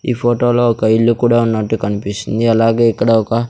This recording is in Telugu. ఈ ఫోటో లో ఒక ఇల్లు కూడా ఉన్నట్టు కనిపిస్తుంది అలాగే ఇక్కడ ఒక.